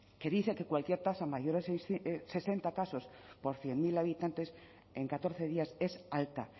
que dice que cualquier tasa mayor de sesenta casos por cien mil habitantes en catorce días es alta